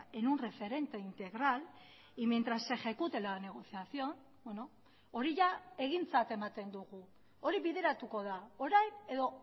en un referente integral y mientras se ejecute la negociación hori egintzat ematen dugu hori bideratuko da orain edo